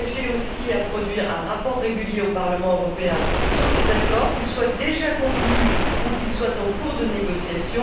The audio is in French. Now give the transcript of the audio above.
ainsi qu'un rapport régulier au Parlement européen sur ces accords, qu'ils soient déjà conclus ou qu'ils soient en cours de négociation.